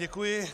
Děkuji.